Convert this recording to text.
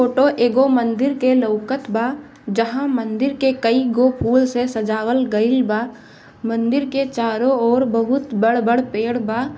Photo एगो मंदिर के लउकत बा जहा मंदिर के कई गो फूल से सजावल गईल बा मंदिर के चारों ओर बोहोत बड़-बड़ पेड़ बा ।